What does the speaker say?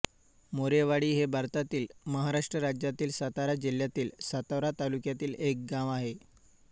मोरेवाडी हे भारतातील महाराष्ट्र राज्यातील सातारा जिल्ह्यातील सातारा तालुक्यातील एक गाव आहे